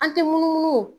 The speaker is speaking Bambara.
An tɛ munumunu